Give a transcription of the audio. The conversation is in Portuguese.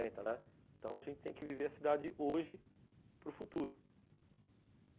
Então a gente tem que viver a cidade hoje para o futuro.